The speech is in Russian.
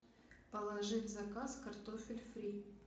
положи в заказ картофель фри